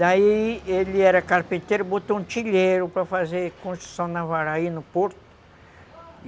Daí ele era carpinteiro, botou um tilheiro para fazer construção navarra aí no Porto.